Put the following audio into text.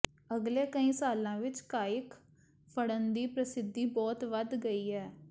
ਅਗਲੇ ਕਈ ਸਾਲਾਂ ਵਿੱਚ ਕਾਇਕ ਫੜਨ ਦੀ ਪ੍ਰਸਿੱਧੀ ਬਹੁਤ ਵਧ ਗਈ ਹੈ